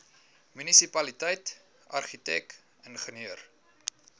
munisipaliteit argitek ingenieur